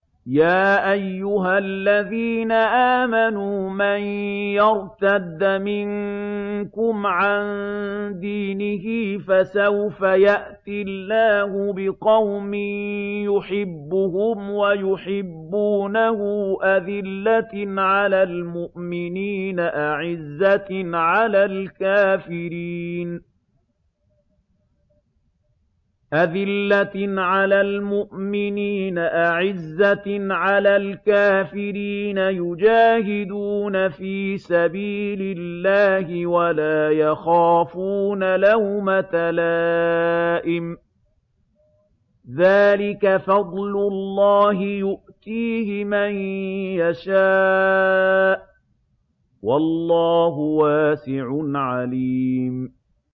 يَا أَيُّهَا الَّذِينَ آمَنُوا مَن يَرْتَدَّ مِنكُمْ عَن دِينِهِ فَسَوْفَ يَأْتِي اللَّهُ بِقَوْمٍ يُحِبُّهُمْ وَيُحِبُّونَهُ أَذِلَّةٍ عَلَى الْمُؤْمِنِينَ أَعِزَّةٍ عَلَى الْكَافِرِينَ يُجَاهِدُونَ فِي سَبِيلِ اللَّهِ وَلَا يَخَافُونَ لَوْمَةَ لَائِمٍ ۚ ذَٰلِكَ فَضْلُ اللَّهِ يُؤْتِيهِ مَن يَشَاءُ ۚ وَاللَّهُ وَاسِعٌ عَلِيمٌ